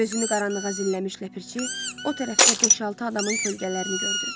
Gözünü qaranlığa zilləmiş Ləpirçi o tərəfdə beş-altı adamın kölgələrini gördü.